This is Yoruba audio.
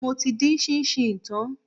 Mo ti dín ṣíńṣíìn tán.